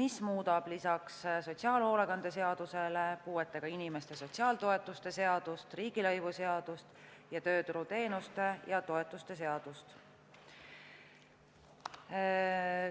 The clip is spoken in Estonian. mis muudab lisaks sotsiaalhoolekande seadusele puuetega inimeste sotsiaaltoetuste seadust, riigilõivuseadust ning tööturuteenuste ja -toetuste seadust.